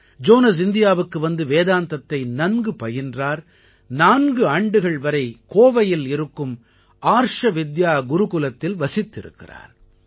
Jones இந்தியாவுக்கு வந்து வேதாந்தத்தை நன்கு பயின்றார் நான்கு ஆண்டுகள் வரை கோவையில் இருக்கும் ஆர்ஷ வித்யா குருகுலத்தில் வசித்திருக்கிறார்